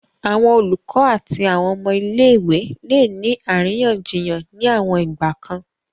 Awọn olukọ ati awọn ọmọ ile-iwe le ni ariyanjiyan ni awon igbakan